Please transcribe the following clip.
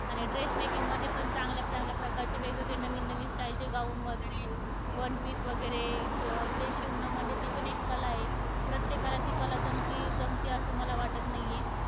आणि dress making मध्ये पण चांगल्या चांगल्या प्रकारचे वेगवेगळे नवीन नवीन style चे gown वगैरे, one piece वगैरे, ते शिवणं म्हणजे ती पण एक कला आहे. प्रत्येकाला ती कला जमती जमती असं मला वाटत नाहीय.